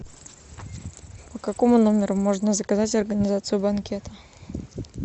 по какому номеру можно заказать организацию банкета